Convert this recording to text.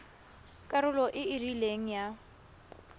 karolo e e rileng ya